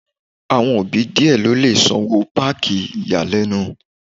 Àwọn òbí díè ló lè sanwó páàkì ìyàlẹ́nu.